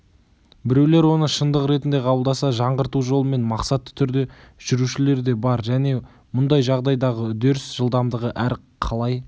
біреулер оны шындық ретінде қабылдаса жаңғырту жолымен мақсатты түрде жүрушілер де бар және мұндай жағдайдағы үдеріс жылдамдығы әр қалай